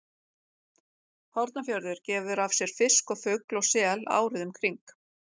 Hornafjörður gefur af sér fisk og fugl og sel árið um kring.